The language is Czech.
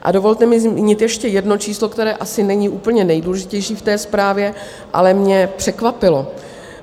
A dovolte mi zmínit ještě jedno číslo, které asi není úplně nejdůležitější v té zprávě, ale mě překvapilo.